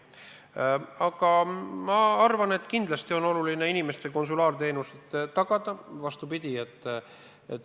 Ma arvan, et kindlasti on oluline inimestele konsulaarteenus tagada.